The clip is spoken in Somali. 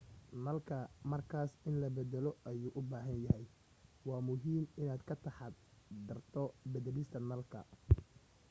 nalku markaas in la baddalo ayuu u baahan yahay waa muhiim inaad ka taxaddarto beddelista nalka